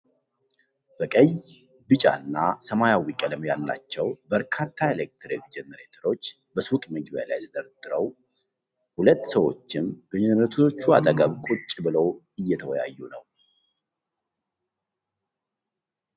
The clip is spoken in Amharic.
በቀይ፣ ቢጫ እና ሰማያዊ ቀለም ያላቸው በርካታ ኤሌክትሪክ ጀነሬተሮችን በሱቅ መግቢያ ላይ ተደራርበው ። ሁለት ሰዎችም በጀነሬተሮቹ አጠገብ ቁጭ ብለው እየተወያዩ ነው።